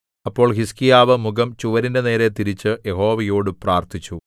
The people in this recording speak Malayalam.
അപ്പോൾ ഹിസ്കീയാവ് മുഖം ചുവരിന്റെ നേരെ തിരിച്ചു യഹോവയോടു പ്രാർത്ഥിച്ചു